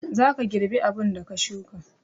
zaka girbi abunda ka shuka